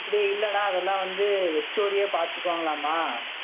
அப்படி இல்லடா. அதெல்லாம் வந்து HOD யே பார்த்துக்குவாங்களாமாம்.